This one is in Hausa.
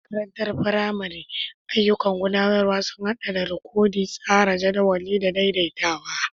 A makarantar firamare, ayyukan gudanarwa sun haɗa da rikodi, tsara jadawalin, da daidaitawa.